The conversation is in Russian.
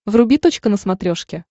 вруби точка на смотрешке